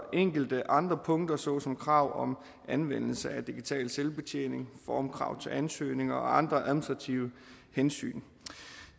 enkelte andre punkter såsom krav om anvendelse af digital selvbetjening formkrav til ansøgninger og andre administrative hensyn